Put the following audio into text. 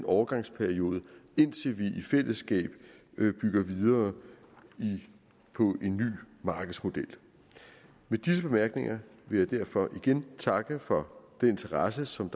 overgangsperioden indtil vi i fællesskab bygger videre på en ny markedsmodel med disse bemærkninger vil jeg derfor igen takke for den interesse som